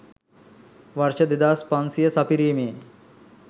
වර්ෂ 2500 සපිරීමේ